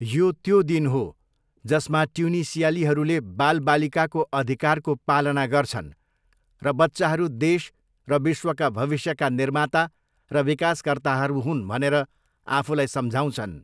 यो त्यो दिन हो जसमा ट्युनिसियालीहरूले बालबालिकाको अधिकारको पालना गर्छन् र बच्चाहरू देश र विश्वका भविष्यका निर्माता र विकासकर्ताहरू हुन् भनेर आफूलाई सम्झाउँछन्।